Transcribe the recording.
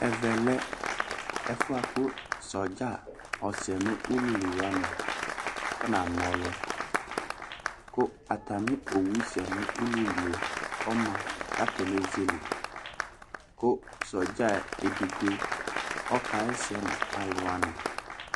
Ɛvɛ lɛ ɛfʋ yɛ kʋ sɔdza ɔsɛ n'ululi wani afɔna ɔlʋ, kʋ atami owu sɛ n'ululi yɛ ɔma k'atani ezele, kʋ sɔdza edigbo ɔkaɣɛsɛ nʋ alʋwani